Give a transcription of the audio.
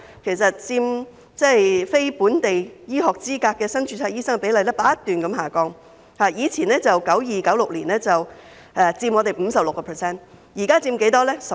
其後，持有非本地醫學資格的新增註冊醫生所佔比例不斷下降，由1992年至1996年期間的 56%， 降至近年的 13%。